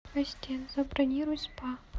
ассистент забронируй спа